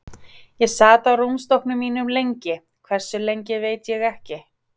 Ég sat á rúmstokknum mínum lengi, hversu lengi veit ég ekki.